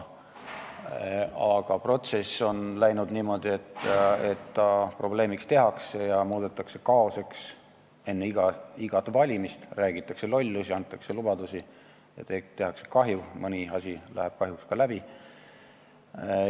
Aga protsess on läinud niimoodi, et probleemiks see tehakse ja muudetakse kaoseks enne igat valimist – räägitakse lollusi, antakse lubadusi ehk tehakse kahju, mõni asi läheb kahjuks ka läbi.